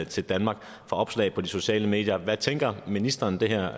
til danmark for opslag på de sociale medier hvad tænker ministeren det her